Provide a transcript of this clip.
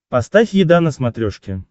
поставь еда на смотрешке